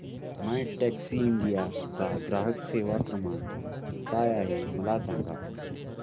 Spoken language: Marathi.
मायटॅक्सीइंडिया चा ग्राहक सेवा क्रमांक काय आहे मला सांग